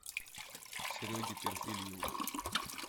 сереге перфильеву